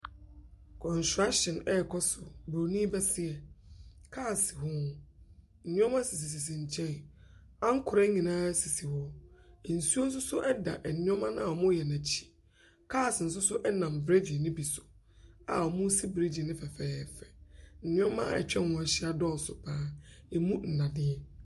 Construction rekɔ so, buroni bɛseɛ. Car si ho. Nneɛma sisisisi nkyɛn. Nkorɛ nyinaa sisi hɔ. Nsuo nso so da nneɛma no a wɔreyɛ no akyi. Cars nso so nam bregy no bi so a wɔresi breegye no fɛfɛɛfɛ. Nneɛma a atwa ho ahyia dɔɔso pa ara, ɛmu nnadeɛ.